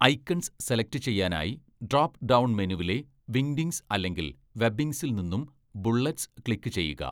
Icons select ചെയ്യാനായി drop down മെനുവിലെ Wingdings അല്ലെങ്കിൽ വെബിങ്സിൽ നിന്നും ബുളളറ്റ്സ് ക്ലിക്ക് ചെയ്യുക.